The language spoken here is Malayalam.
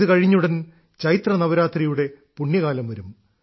ഇത് കഴിഞ്ഞ് ഉടൻ ചൈത്ര നവരാത്രിയുടെ പുണ്യകാലം വരും